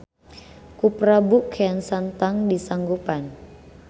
Ku prabu kean santang di sanggupan.